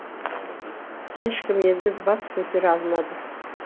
ешкім енді бас көтере алмады